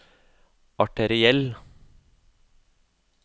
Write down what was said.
arteriell